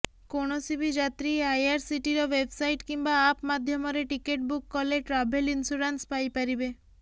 କୌଣସି ବି ଯାତ୍ରୀ ଆଇଆରସିଟିର ୱେବସାଇଟ କିମ୍ବା ଆପ ମାଧ୍ୟମରେ ଟିକେଟ୍ ବୁକ୍ କଲେ ଟ୍ରାଭେଲ ଇନସ୍ୟୁରାନ୍ସ ପାଇପାରିବେ